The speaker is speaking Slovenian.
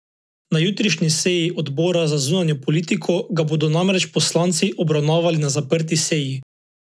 Na jutrišnji seji odbora za zunanjo politiko ga bodo namreč poslanci obravnavali na zaprti seji.